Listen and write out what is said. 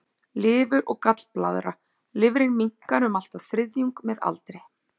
Lifur og gallblaðra Lifrin minnkar um allt að þriðjung með aldri.